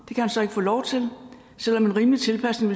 han så ikke få lov til selv om en rimelig tilpasning